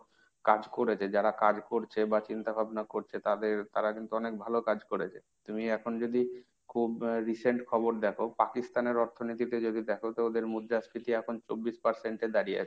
কাজ করেছে। যারা কাজ করছে বা চিন্তা ভাবনা করছে তাদের তারা কিন্তু অনেক ভালো কাজ করেছে। তুমি এখন যদি খুব recent খবর দেখো Pakistan এর অর্থনীতিটা যদি দেখো তো ওদের মুদ্রাস্ফীতি এখন চব্বিশ percent এ দাঁড়িয়ে আছে।